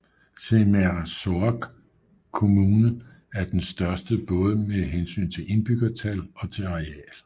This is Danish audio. Sermersooq Kommune er den største både med hensyn til indbyggertal og til areal